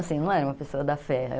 Assim, eu não era uma pessoa da Fé.